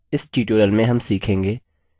इस tutorial में हम सीखेंगे